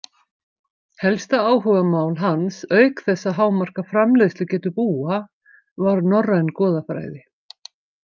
Helsta áhugamál hans auk þess að hámarka framleiðslugetu búa var norræn goðafræði.